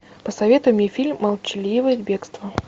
посоветуй мне фильм молчаливое бегство